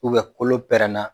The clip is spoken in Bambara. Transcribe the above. U bɛ kolo pɛrɛnna